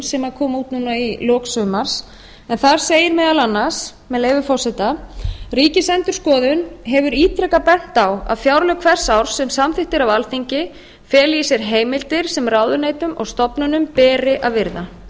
sem kom út núna í lok sumars þar segir meðal annars með leyfi forseta ríkisendurskoðun hefur ítrekað bent á að fjárlög hvers árs sem samþykkt eru af alþingi feli í sér heimildir sem ráðuneytum og stofnunum beri að virða